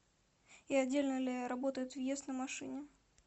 и отдельно ли работает въезд на машине